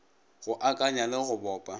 go akanya le go bopa